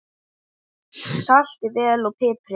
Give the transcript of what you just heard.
Saltið vel og piprið.